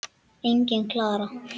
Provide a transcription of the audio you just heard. Engin Klara!